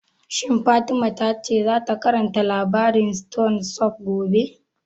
Shin Fatima ta ce za ta karanta labarin stone soup gobe?